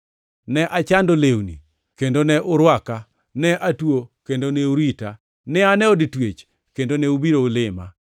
ne achando lewni, kendo ne urwaka; ne atuo kendo ne urita; ne an e od twech, kendo ne ubiro lima.’